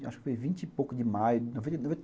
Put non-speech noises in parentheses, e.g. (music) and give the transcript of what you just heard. Acho que foi em vinte e pouco de maio de noventa e (unintelligible)